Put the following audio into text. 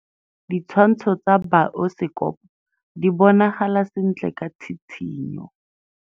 Ditshwantshô tsa biosekopo di bonagala sentle ka tshitshinyô.